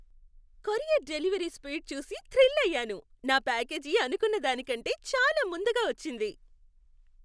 Courier delivery speed చూసి thrill అయ్యాను. నా ప్యాకేజీ అనుకున్న దానికంటే చాలా ముందుగా వచ్చింది!